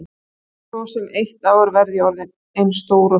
Eftir svo sem eitt ár verð ég orðin eins stór og þú.